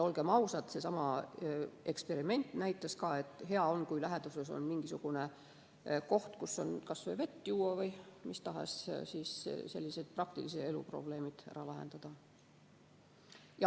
Olgem ausad, seesama eksperiment näitas ka, et hea on, kui läheduses on mingisugune koht, kus saab kas või vett juua või mis tahes sellised praktilise elu probleemid ära lahendada.